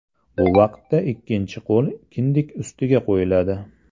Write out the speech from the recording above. Bu vaqtda ikkinchi qo‘l kindik ustiga qo‘yiladi.